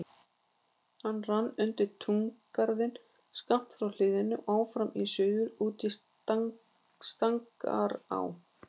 Hann rann undir túngarðinn skammt frá hliðinu og áfram í suður út í Stangará.